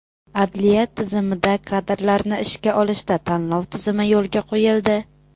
Adliya tizimida kadrlarni ishga olishda tanlov tizimi yo‘lga qo‘yildi.